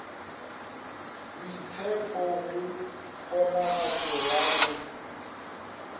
boitshepho go kgonagatšo ya go